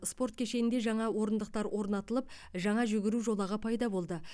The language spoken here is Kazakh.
спорт кешенінде жаңа орындықтар орнатылып жаңа жүгіру жолағы пайда болды